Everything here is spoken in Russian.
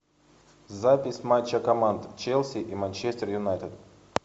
запись матча команд челси и манчестер юнайтед